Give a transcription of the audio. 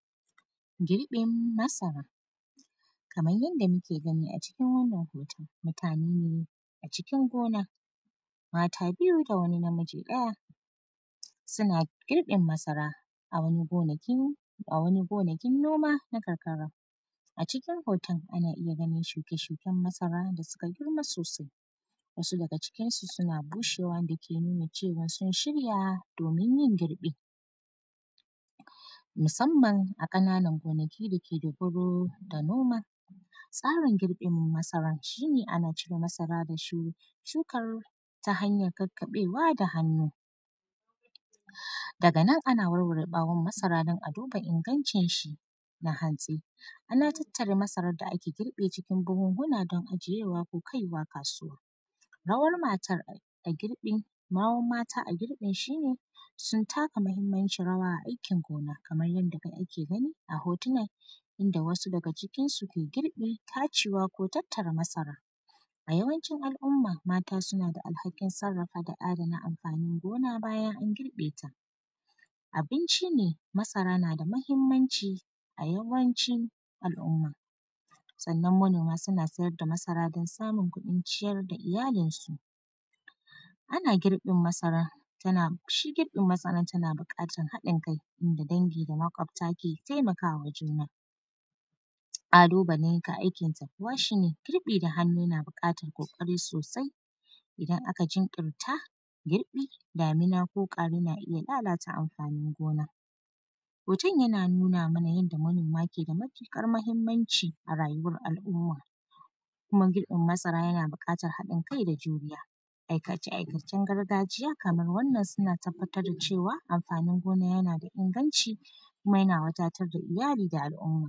Girƃin masara. Kaman yanda muke gani a cikin wannan hoton, mutane ne a cikin gona, mata biyu da wani namiji ɗaya, suna giƃin masara a wani gonakin; a wani gonakin boma na karkara. A cikin hoton, ana iya ganin shuke-shuken masara da suka girma sosai, wasu daga cikinsu suna bushewa wanda ke nuna cewa sun shirya domin yin girƃi, musamman a ƙananan gonaki da ke dogaro da noma. Tsarin girƃin masaran, shi ne, ana cire masara da shu; shukar ta hanyan kakkaƃewa da hannu. Daga nan, ana warware ƃawon masara don a duba ingancinshi na hantsi, ana tattara masarar da aka girƃe cikin buhunhuna don ajiyewa ko kai wa kasuwa. Rawar matar a girƃin, rawar mata a girƃin shi ne, sun taka mahimmancin rawa a aikin gona. Kamar yanda de ake gani a hotuna, inda wasu daga cikinsu ke girƃi, tacewa ko tattara masara. A yawancin al’umma, mata suna da alhakin sarrafa da adana amfanin gona bayan an girƃe ta. Abinci ne, masara na da mahimmanci a yawancin al’umma. Sannan, manoma suna sayar da masara don samun kuɗin ciyar da iyalinsu. Ana girin masara, tana, shi girƃin masaran tana biƙatan haɗin-kai, inda dangi da maƙota ke temaka wa juna. Ƙalubale ga aikin ta kuwa, shi ne girƃi da hannu na biƙatan ƙoƙari sosai, idan aka jinƙirta girƃi, damina ko ƙwari na iya lalata amfanin gona. Hoton, yana nuna mana yanda manoma ke da matiƙar mahimmanci a rayuwar al’umma, kuma girƃin masara yana biƙatar haɗin-kai da juriya. Aikace-aikacen gargajiya kamar wannan, suna tabbatar da cewa, amfanin gona yana da inganci, kuma yana wadatar da iyali da al’umma.